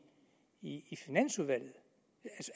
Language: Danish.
i finansudvalget